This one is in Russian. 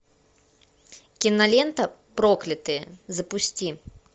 кинолента проклятые запусти